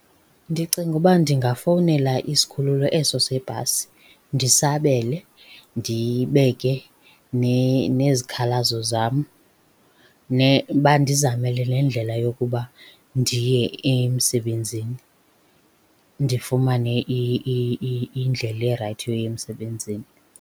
Ndicinga uba ndingafowunela isikhululo eso sebhasi, ndisabele ndibeke nezikhalazo zam, bandizamele nendlela yokuba ndiye emsebenzini, ndifumane indlela erayithi yoya emsebenzini.